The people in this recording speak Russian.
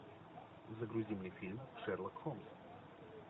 загрузи мне фильм шерлок холмс